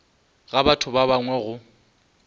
ga batho ba bangwe go